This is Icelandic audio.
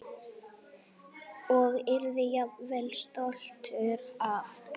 Og yrði jafnvel stoltur af.